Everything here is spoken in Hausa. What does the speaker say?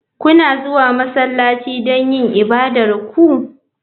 Kuna zuwa masallaci don yin ibadar ku?